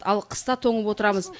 ал қыста тоңып отырамыз